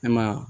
An ma